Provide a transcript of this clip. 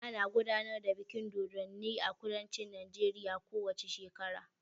Ana gudanar da bikin dodonni a kudancin Najeriya ko wace shekara.